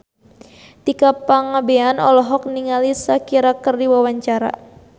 Tika Pangabean olohok ningali Shakira keur diwawancara